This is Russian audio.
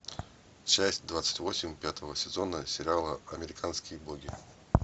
часть двадцать восемь пятого сезона сериала американские боги